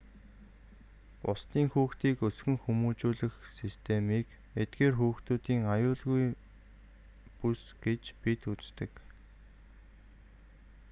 бусдын хүүхдийг өсгөн хүмүүжүүлэх системийг эдгээр хүүхдүүдийн аюулгүйн бүс гэж бид үздэг